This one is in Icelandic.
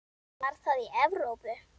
Var það í Evrópu?